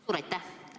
Suur aitäh!